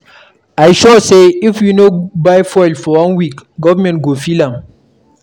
I sure say, If we no buy fuel for one week, government go feel am.